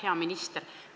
Hea minister!